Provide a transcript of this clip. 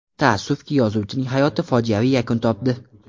Taassufki, yozuvchining hayoti fojiaviy yakun topdi.